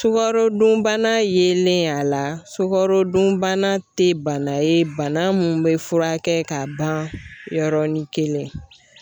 Sukarodunbana yelen ye a la, sukarodunbana tɛ bana ye bana mun bɛ furakɛ ka ban yɔrɔnin kelen.